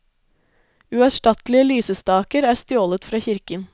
Uerstattelige lysestaker er stjålet fra kirken.